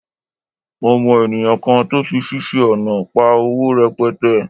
Mo mọ ènìyàn kan tó fiṣẹ́ ọnà pa owó rẹpẹtẹ